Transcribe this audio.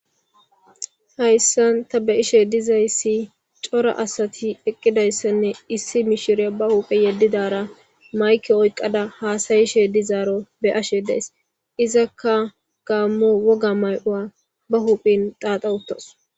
Hayssan ta beishe dizayssi cora asati eqqidayssanne issi mishire ba huphe yeddidara mayke oyqqada haasayishe dizaaro beyashe dees. izakka gaammo woga may'owa ba huphin xaaxawuttos